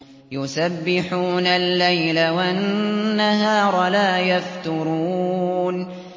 يُسَبِّحُونَ اللَّيْلَ وَالنَّهَارَ لَا يَفْتُرُونَ